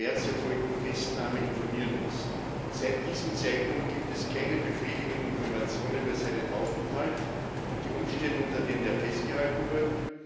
19. März erfolgten Festnahme informieren müssen. Seit diesem Zeitpunkt gibt es keine befriedigenden Informationen über seinen Aufenthalt und die Umstände, unter denen er festgehalten wird.